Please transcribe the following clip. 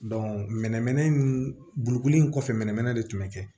mɛnɛmɛnɛ bolokoli in kɔfɛ mɛnɛmɛnɛ de tun be kɛ